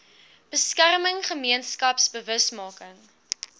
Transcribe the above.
beskerming gemeenskaps bewusmaking